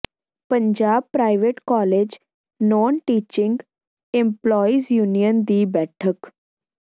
Punjab private college non teaching employees union ਦੀ ਬੈਠਕ